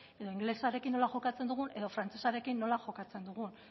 edo ingelesarekin nola jokatzen dugun edo frantsesarekin nola jokatzen dugun